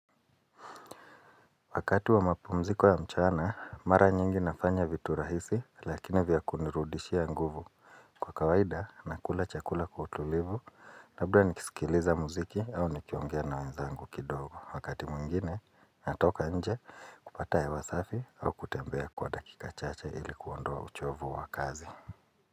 Wakati wa mapumziko ya mchana, mara nyingi nafanya vitu rahisi lakini vya kunirudishia nguvu. Kwa kawaida, nakula chakula kwa utulivu, labda nikisikiliza muziki au nikiongea na wenzangu kidogo. Wakati muingine, natoka nje kupata hewa ya wasafi au kutembea kwa dakika chacha ilikuondoa uchovu wa kazi.